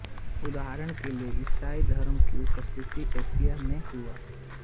उदाहरण के लिए ईसाई धर्म की उत्पत्ति एशिया में हुई